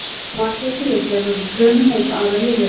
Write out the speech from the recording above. Marglyttur eru gerðar úr frumum eins og aðrar lífverur.